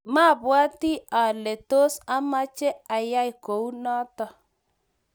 mabwoti ale tos amech ayai kou noto